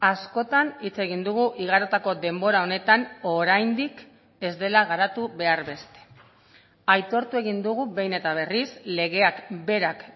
askotan hitz egin dugu igarotako denbora honetan oraindik ez dela garatu behar beste aitortu egin dugu behin eta berriz legeak berak